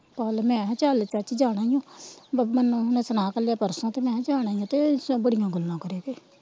ਕੱਲ ਮੈ ਕਿਹਾ ਚਲ ਚਾਚੀ ਜਾਣਾ ਈ ਓ ਨੋਂਹ ਨੇ ਸੁਣਾ ਕਲਿਆ ਪਰਸੋ ਤੇ ਮੈ ਕਿਹਾ ਜਾਣਾ ਈ ਓ ਤੇ ਸਗੋਂ ਬੜੀਆਂ ਗੱਲਾਂ ਕਰੇ ਕੇ